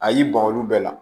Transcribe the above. A y'i ban olu bɛɛ la